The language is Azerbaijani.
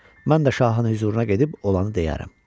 Mən də şahın hüzuruna gedib olanı deyərəm.